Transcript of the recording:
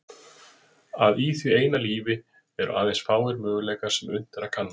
Að í því eina lífi eru aðeins fáir möguleikar sem unnt er að kanna.